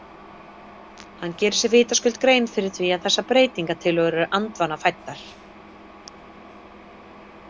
Hann gerir sér vitaskuld grein fyrir því að þessar breytingatillögur eru andvana fæddar.